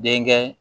Denkɛ